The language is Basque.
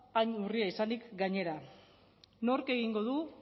hain urria izanik gainera nork egingo du